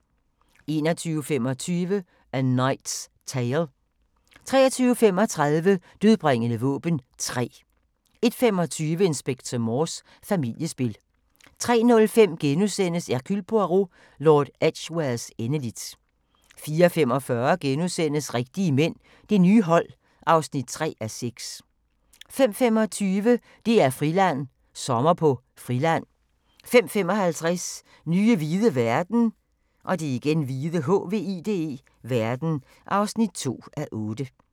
21:25: A Knight's Tale 23:35: Dødbringende våben 3 01:25: Inspector Morse: Familiespil 03:05: Hercule Poirot: Lord Edgwares endeligt * 04:45: Rigtige mænd – det nye hold (3:6)* 05:25: DR-Friland: Sommer på Friland 05:55: Nye hvide verden (2:8)